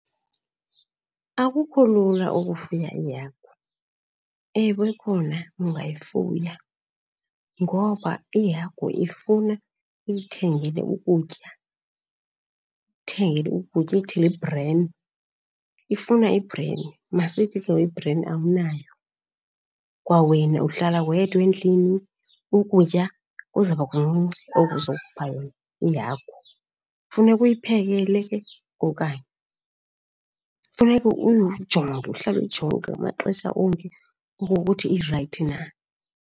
Akukho lula ukufuya iihagu. Ewe khona ungayifuya, ngoba ihagu ifuna uyithengele ukutya, uthengele ukutya, uyithengele i-bran. Ifuna i-bran, masithi ke ngoku i-bran awunayo, kwawena uhlala wedwa endlini, ukutya kuzaba kuncinci oku uzokupha yona ihagu, funeka uyiphekele ke okanye. Funeka uyijonge, uhlala uyijonga ngamaxesha onke okokuthi irayithi na.